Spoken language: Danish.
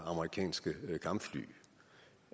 amerikanske kampfly